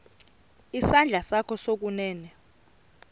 isandla sakho sokunene